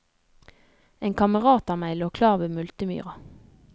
En kamerat av meg lå klar ved multemyra.